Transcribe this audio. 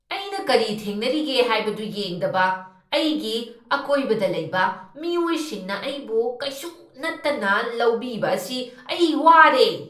ꯑꯩꯅ ꯀꯔꯤ ꯊꯦꯡꯅꯔꯤꯒꯦ ꯍꯥꯏꯕꯗꯨ ꯌꯦꯡꯗꯕ ꯑꯩꯒꯤ ꯑꯀꯣꯏꯕꯗ ꯂꯩꯕ ꯃꯤꯑꯣꯏꯁꯤꯡꯅ ꯑꯩꯕꯨ ꯀꯩꯁꯨ ꯅꯠꯇꯅ ꯂꯧꯕꯤꯕ ꯑꯁꯤ ꯑꯩ ꯋꯥꯔꯦ꯫